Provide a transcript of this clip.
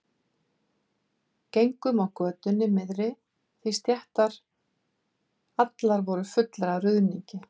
Gengum á götunni miðri því stéttar allar voru fullar af ruðningi.